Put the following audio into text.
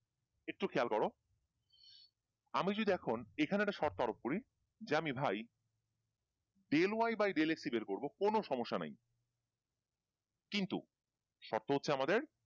একটু খেয়াল করো আমি যদি এখন এখানে একটা সর্ত আরোপ করি যে আমি ভাই del Y bye del X কোনো সমস্যা নাই কিন্তু শর্ত হচ্ছে আমাদের